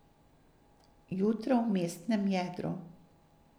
Jutro v mestnem jedru.